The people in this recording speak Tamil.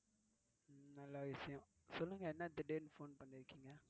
நல்லவிஷயம் சொல்லுங்க என்ன திடீர்னு phone பண்ணிருக்கீங்க?